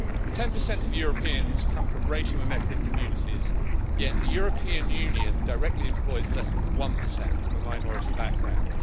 Ten percent of Europeans come from racial and ethnic communities, yet the European Union directly employs less than one percent from a minority background.